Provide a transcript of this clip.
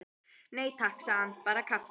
Nei, takk, sagði hann, bara kaffi.